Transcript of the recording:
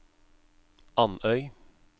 Andøy